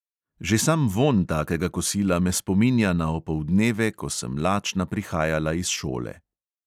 Že sam vonj takega kosila me spominja na opoldneve, ko sem lačna prihajala iz šole.